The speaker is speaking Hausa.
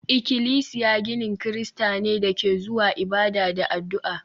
Ikilisiya ginin Kirista ne da ke zuwa ibada da addu'a